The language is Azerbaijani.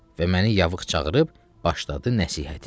Və məni yaxın çağırıb başladı nəshihətini.